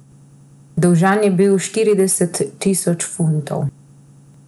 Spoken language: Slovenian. Dolžan je bil štirideset tisoč funtov.